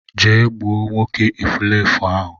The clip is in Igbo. Je gbuo nwoke efulefu ahu